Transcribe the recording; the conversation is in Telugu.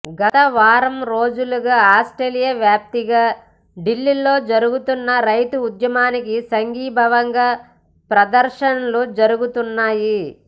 గత వారం రోజులుగా ఆస్ట్రేలియా వ్యాప్తంగా ఢిల్లీలో జరుగుతున్న రైతు ఉద్యమానికి సంఘీభావంగా ప్రదర్శనలు జరుగుతున్నాయి